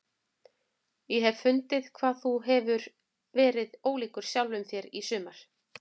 Ég hef fundið hvað þú hefur verið ólíkur sjálfum þér í sumar.